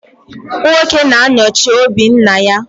Nwoke na-anọchi òbí nna ya.